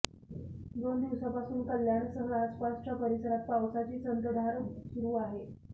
दोन दिवसापासून कल्याणसह आसपासच्या परिसरात पावसाची संततधार सुरु आहे